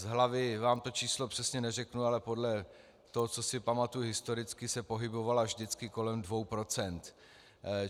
Z hlavy vám to číslo přesně neřeknu, ale podle toho, co si pamatuju historicky, se pohybovala vždycky kolem dvou procent.